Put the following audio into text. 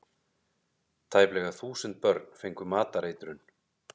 Tæplega þúsund börn fengu matareitrun